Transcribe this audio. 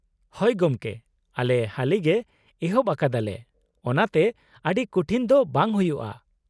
-ᱦᱳᱭ ᱜᱚᱢᱠᱮ, ᱟᱞᱮ ᱦᱟᱹᱞᱤᱜᱮ ᱮᱦᱚᱵ ᱟᱠᱟᱫᱟᱞᱮ ᱚᱱᱟᱛᱮ ᱟᱹᱰᱤ ᱠᱩᱴᱷᱤᱱ ᱫᱚ ᱵᱟᱝ ᱦᱩᱭᱩᱜᱼᱟ ᱾